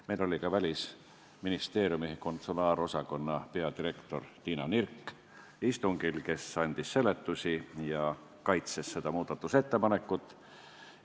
Meil oli istungil ka Välisministeeriumi konsulaarosakonna peadirektor Tiina Nirk, kes andis seletusi ja kaitses seda muudatusettepanekut.